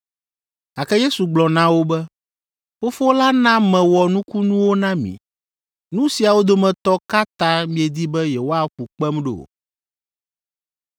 gake Yesu gblɔ na wo be, “Fofo la na mewɔ nukunuwo na mi. Nu siawo dometɔ ka ta miedi be yewoaƒu kpem ɖo?”